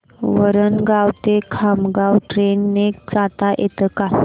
वरणगाव ते खामगाव ट्रेन ने जाता येतं का